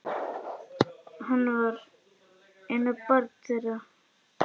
Hann var eina barn þeirra.